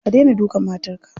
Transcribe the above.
Ka dena dukan matarka.